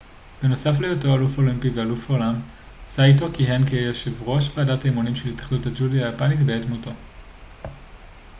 בנוסף להיותו אלוף אולימפי ואלוף העולם סאיטו כיהן כיושב ראש ועדת האימונים של התאחדות הג'ודו היפנית בעת מותו